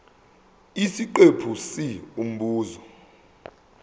isiqephu c umbuzo